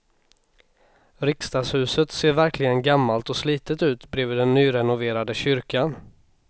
Riksdagshuset ser verkligen gammalt och slitet ut bredvid den nyrenoverade kyrkan.